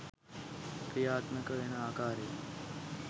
ක්‍රියාත්මක වෙන අකාරය